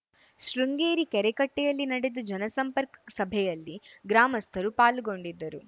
ಶೃಂಗೇರಿ ಕೆರೆಕಟ್ಟೆಯಲ್ಲಿ ನಡೆದ ಜನಸಂಪರ್ಕ ಸಭೆಯಲ್ಲಿ ಗ್ರಾಮಸ್ಥರು ಪಾಲ್ಗೊಂಡಿದ್ದರು